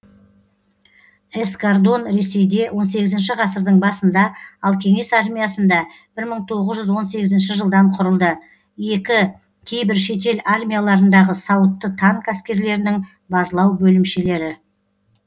эскардон ресейде он сегізінші ғасырдың басында ал кеңес армиясында бір мың тоғыз жүз он сегізінші жылдан құрылды екі кейбір шетел армияларындағы сауытты танк әскерлерінің барлау бөлімшелері